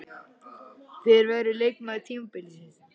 Hver verður leikmaður tímabilsins?